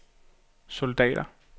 soldater